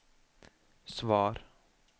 svar